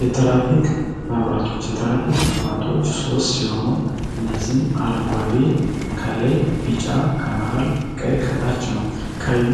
የትራፊክ መብራቶች: የትራፊክ መብራቶች ሶስት ሲሆኑ እነዚም አረንጓዲ ከላይ ቢጫ ከመሀል ቀይ ከመሀል ቀይ ከታች ነዉ። ቀዩ